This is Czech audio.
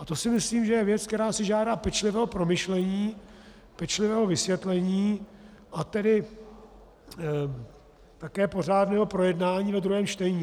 A to si myslím, že je věc, která si žádá pečlivého promyšlení, pečlivého vysvětlení, a tedy také pořádného projednání ve druhém čtení.